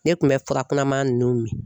Ne tun bɛ furakunama ninnu min.